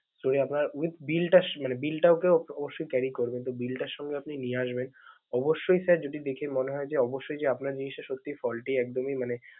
store এ আপনার with bill টা শ~ মানে bill টাকেও অবশ্যই carry করবেন, তো bill টাও সঙ্গে আপনি নিয়ে আসবেন, অবশ্যই sir যদি দেখে মনে হয় যে অবশ্যই যে আপনার জিনিসটা সত্যি faulty একদমই মানে